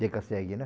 Deca-segue, né?